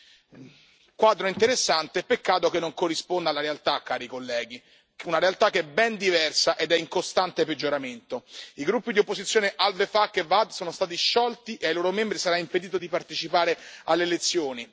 Un quadro interessante, peccato che non corrisponda alla realtà, cari colleghi, una realtà che è ben diversa ed è in costante peggioramento. I gruppi di opposizione al Wefaq e Waad sono stati sciolti e ai loro membri sarà impedito di partecipare alle elezioni.